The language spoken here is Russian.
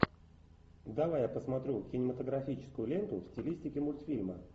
давай я посмотрю кинематографическую ленту в стилистике мультфильма